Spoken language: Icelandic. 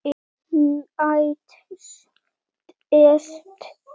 Næst best.